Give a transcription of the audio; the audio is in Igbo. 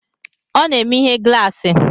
Ọ na-eme ihe glaasi